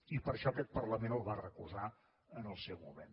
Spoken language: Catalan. i per això aquest parlament el va recusar en el seu moment